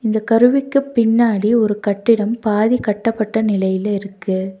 இந்தக் கருவிக்கு பின்னாடி ஒரு கட்டிடம் பாதி கட்டப்பட்ட நிலையில இருக்கு.